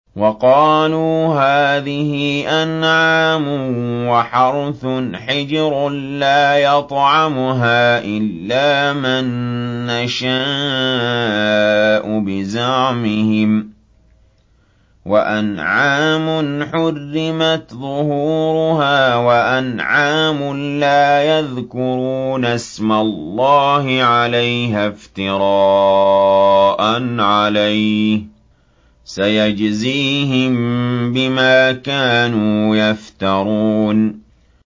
وَقَالُوا هَٰذِهِ أَنْعَامٌ وَحَرْثٌ حِجْرٌ لَّا يَطْعَمُهَا إِلَّا مَن نَّشَاءُ بِزَعْمِهِمْ وَأَنْعَامٌ حُرِّمَتْ ظُهُورُهَا وَأَنْعَامٌ لَّا يَذْكُرُونَ اسْمَ اللَّهِ عَلَيْهَا افْتِرَاءً عَلَيْهِ ۚ سَيَجْزِيهِم بِمَا كَانُوا يَفْتَرُونَ